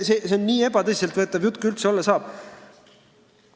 See on nii ebatõsiselt võetav jutt, kui üldse olla saab.